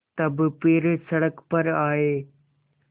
तब फिर सड़क पर आये